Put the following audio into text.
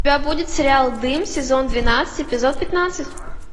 у тебя будет сериал дым сезон двенадцать эпизод пятнадцать